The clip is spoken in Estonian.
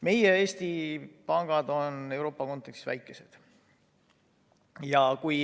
Meie Eesti pangad on Euroopa kontekstis väikesed.